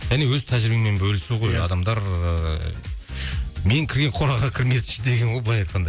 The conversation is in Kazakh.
және өз тәжірибеңмен бөлісу ғой адамдар ыыы мен кірген қораға кірмесінші деген ғой былай айтқанда